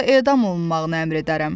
Yoxsa edam olunmağını əmr edərəm.